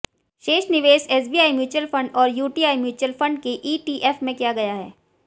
शेष निवेश SBI mutual fund और यूटीआई म्युचुअल फंड के ईटीएफ में किया गया है